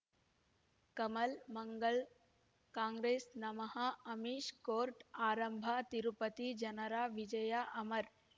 ಕಮಲ್ ಮಂಗಳ್ ಕಾಂಗ್ರೆಸ್ ನಮಃ ಅಮಿಷ್ ಕೋರ್ಟ್ ಆರಂಭ ತಿರುಪತಿ ಜನರ ವಿಜಯ ಅಮರ್